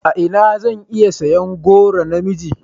A ina zan iya siyan goron na miji?